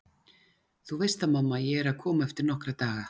Þú veist það mamma, ég er að koma eftir nokkra daga